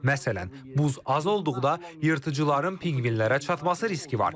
Məsələn, buz az olduqda yırtıcıların pinqvinlərə çatması riski var.